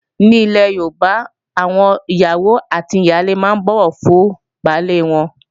Ní ilè Yorùbá, àwọn ìyàwó àti ìyálé máa ń bọ̀wọ̀ fún baálé wọn